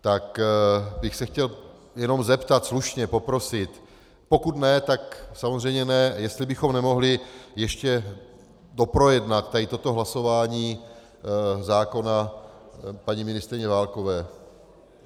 Tak bych se chtěl jenom zeptat, slušně, poprosit, pokud ne, tak samozřejmě ne, jestli bychom nemohli ještě doprojednat tady toto hlasování zákona paní ministryně Válkové.